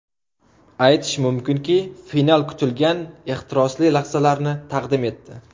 Aytish mumkinki, final kutilgan ehtirosli lahzalarni taqdim etdi.